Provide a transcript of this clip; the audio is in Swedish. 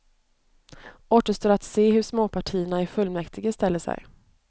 Återstår att se hur småpartierna i fullmäktige ställer sig.